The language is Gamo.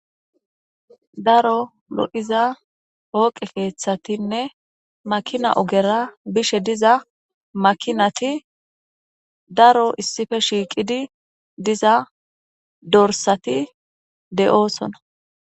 Daro lo7iza hooqe keeththatinne makina ogera bishe diza makinati daro issife shiiqidi diza dorsati de7oosona.